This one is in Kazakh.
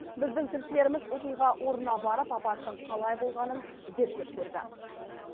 біздің тілшілеріміз оқиға орнына барып апаттың қалай болғанын зерттеп көрді